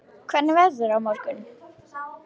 Friðrik, hvernig er veðrið á morgun?